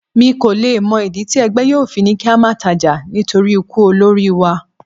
Mi kò le mọ ìdí tí ẹgbẹ́ yóò fi ní kí á máa tajà nítorí ikú olórí wa.